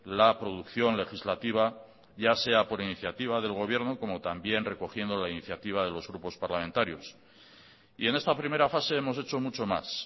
la producción legislativa ya sea por iniciativa del gobierno como también recogiendo la iniciativa de los grupos parlamentarios y en esta primera fase hemos hecho mucho más